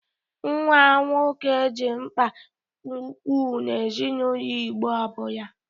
Nwa nwoke dị mgba ukwu n'ezinaụlọ Igbo ọbụla.